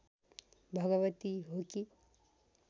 भगवती हो कि